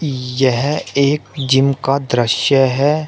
यह एक जिम का दृश्य है।